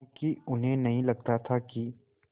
क्योंकि उन्हें नहीं लगता था कि